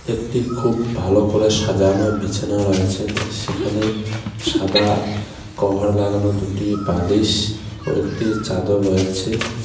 একটি খুব ভালো করে সাজানো বিছানা রয়েছেন সেখানে সাদা কভার লাগানো দুটি বালিশ ও একটি চাদর রয়েছে.